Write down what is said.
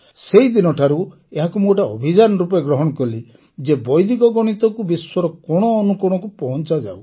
ସେହିଦିନଠାରୁ ଏହାକୁ ମୁଁ ଗୋଟିଏ ଅଭିଯାନ ରୂପେ ଗ୍ରହଣ କଲି ଯେ ବୈଦିକ ଗଣିତକୁ ବିଶ୍ୱର କୋଣ ଅନୁକୋଣକୁ ପହଂଚାଯାଉ